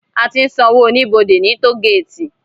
Á ti n sànwó ónibódé ni tógéti